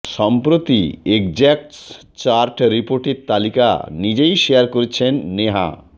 সম্প্রতি এগজ্যাক্টস চার্ট রিপোর্টের তালিকা নিজেই শেয়ার করেছেন নেহা